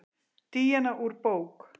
Díana úr bók.